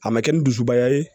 A ma kɛ ni dusubaya ye